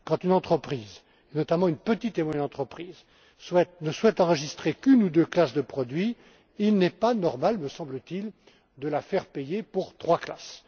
Quand une entreprise, notamment une petite et moyenne entreprise, ne souhaite enregistrer qu'une ou deux classes de produits, il n'est pas normal, me semble t il, de la faire payer pour trois classes!